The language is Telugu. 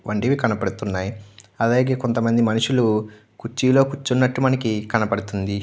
వంటివి కనబడుతున్నాయి అలాగే కొంతమంది మనుషులు కుర్చీలో కూర్చునట్టు కనపడుతుంది.